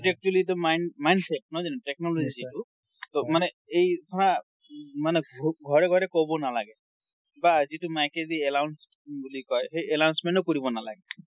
এইটো actually টো mind~ mindset, নহয় জানো technology টো ? ট মানে এই ধৰা, মানে ঘৰে ঘৰে কব নালাগে। বা যিটো mike দি announce বুলি কয়, সেই announcement ও কৰিব নালাগে।